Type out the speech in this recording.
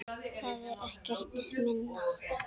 Það er ekkert minna!